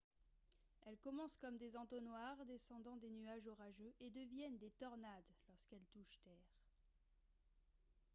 elles commencent comme des entonnoirs descendant des nuages orageux et deviennent des « tornades » lorsqu’elles touchent terre